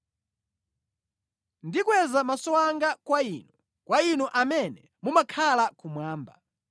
Ndikweza maso anga kwa Inu, kwa Inu amene mumakhala kumwamba.